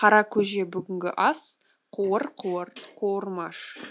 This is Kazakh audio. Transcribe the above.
қара көже бүгінгі ас қуыр қуыр қуырмаш